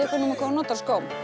þið númer hvað hún notar